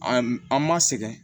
An an ma sɛgɛn